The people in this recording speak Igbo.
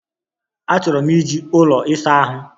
Achọrọ m iji ụlọ ịsa ahụ.